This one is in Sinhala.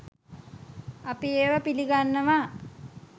අපි ඒවා පිලිගන්නවා